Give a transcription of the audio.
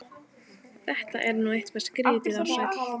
Þetta er nú eitthvað skrýtið, Ársæll!